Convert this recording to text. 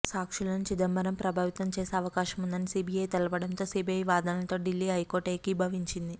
సాక్షులను చిదంబరం ప్రభావితం చేసే అవకాశముందని సీబీఐ తెలపడంతో సీబీఐ వాదనలతో ఢిల్లీ హైకోర్టు ఏకీభవించింది